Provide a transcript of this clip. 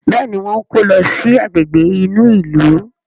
Béèni wón kò ló sì Àgbègbè inú ilu.